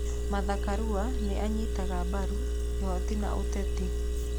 Martha Karua nĩ anyitaga mbaru kĩhooto na ũteti.